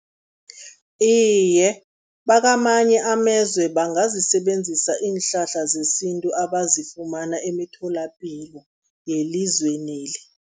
Iye, bakamanye amezwe bangazisebenzisa iinhlahla zesintu abazifumana emitholapilo yelizweneli.